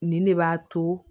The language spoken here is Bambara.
Nin ne b'a to